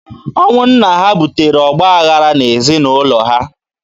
Ọnwụ nna ha butere ọgbaghara n'ezinaụlọ ha.